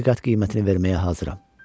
İki qat qiymətini verməyə hazıram.